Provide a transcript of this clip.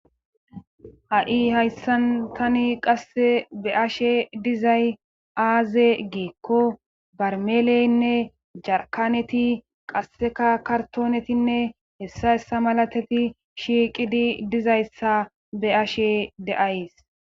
Ha'i hayssan tani qasse be ashe dizay aaze geekko barmeleynne jarkaneti qasseka kartoonetinne hessa hessa malateti shiiqidi dizayssa be ashe deays